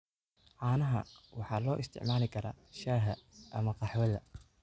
Caanaha waxaa loo isticmaali karaa shaaha ama qaxwada.